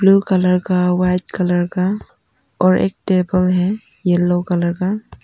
Blue colour का white colour का और एक टेबल है येलो कलर का।